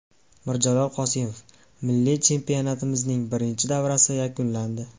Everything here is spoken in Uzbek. Mirjalol Qosimov: Milliy chempionatimizning birinchi davrasi yakunlandi.